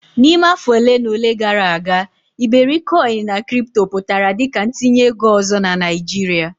N'ime afọ ole na ole gara aga iberikoin na kripto pụtara dị ka ntinye ego ọzọ na Naijiria.